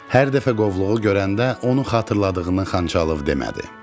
Hər dəfə qovluğu görəndə onu xatırladığını Xançalov demədi.